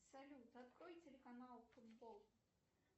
салют открой телеканал футбол